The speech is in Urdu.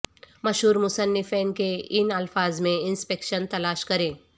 مشہور مصنفین کے ان الفاظ میں انسپکشن تلاش کریں